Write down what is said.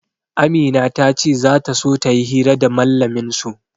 Amina ta ce za ta so ta yi hira da mallamin su.